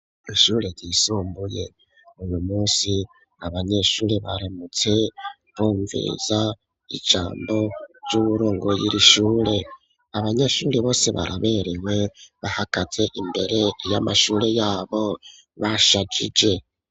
Ishure ryisumbuye uyu munsi abanyeshure baramutse bumviriza ijambo ry'uwurongoye irishure abanyeshure bose baraberewe bahagaze imbere y'amashure yabo bashajije.